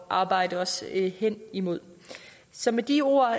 arbejde os hen imod så med de ord